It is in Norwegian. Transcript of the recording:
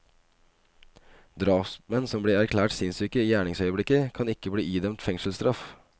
Drapsmenn som blir erklært sinnssyke i gjerningsøyeblikket, kan ikke bli idømt fengselsstraff.